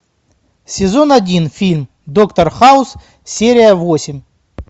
сезон один фильм доктор хаус серия восемь